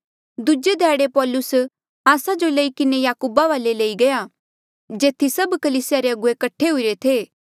दूजे ध्याड़े पौलुस आस्सा जो लई किन्हें याकूबा वाले लई गया जेथी सभ कलीसिया रे अगुवे कठे हुईरे थे